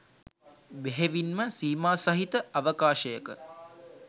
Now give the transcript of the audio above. බෙහෙවින්ම සීමාසහිත අවකාශයක